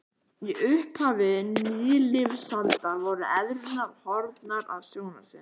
Í upphafi nýlífsaldar voru eðlurnar horfnar af sjónarsviðinu.